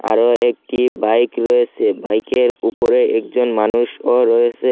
আরও একটি বাইক রয়েসে বাইকের উপরে একজন মানুষও রয়েসে।